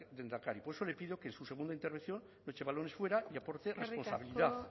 lehendakari por eso le pido que en su segunda intervención no eche balones fuera y aporte irresponsabilidad